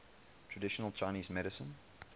traditional chinese medicine